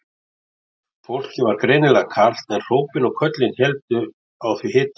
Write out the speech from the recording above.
Fólki var greinilega kalt en hrópin og köllin héldu á því hita.